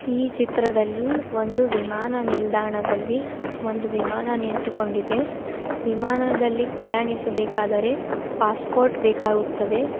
ಈ ಚಿತ್ರದಲ್ಲಿ ಒಂದು ವಿಮಾನ ನಿಲ್ದಾಣದಲ್ಲಿ ಒಂದು ವಿಮಾನ ನಿಂತುಕೊಂಡಿದೆ ವಿಮಾನದಲ್ಲಿ ಪ್ರಯಾಣಿಸ ಬೇಕಾದರೆ ಪಾಸ್ಪೋರ್ಟ್ ಬೇಕಾಗುತ್ತದೆ.